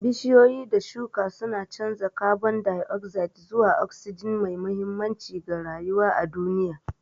Bishiyoyi da shuka suna canza kabon dai'ozaid zuwa osijin, mai mahimmanci ga rayuwa a duniya.